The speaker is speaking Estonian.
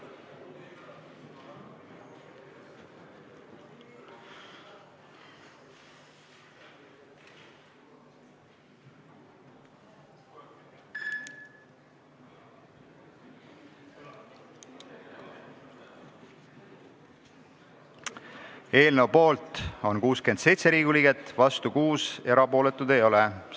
Hääletustulemused Eelnõu poolt on 67 Riigikogu liiget, vastu 6, erapooletuid ei ole.